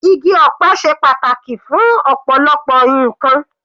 Igi ọ̀pẹ ṣe pàtàkì fún ọ̀pọ̀lọpọ̀ ǹkan.